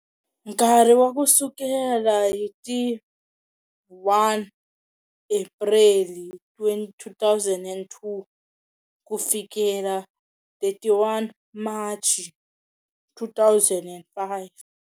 Nkarhi wa ku sukela hi ti 1 Apreli 2002 ku fikela 31 Machi 2005.